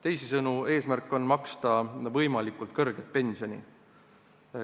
Teisisõnu, eesmärk on maksta võimalikult kõrget pensioni.